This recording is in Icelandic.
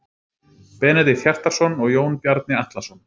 Benedikt Hjartarson og Jón Bjarni Atlason.